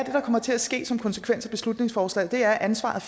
kommer til at ske som konsekvens af beslutningsforslaget er at ansvaret